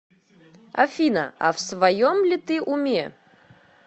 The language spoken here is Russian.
афина а в своем ли ты уме